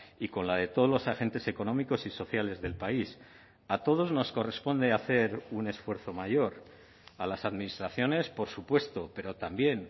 y con la de todos los agentes económicos y sociales del país a todos nos corresponde hacer un esfuerzo mayor a las administraciones por supuesto pero también